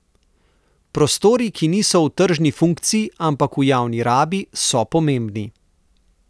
Prostori, ki niso v tržni funkciji, ampak v javni rabi, so pomembni.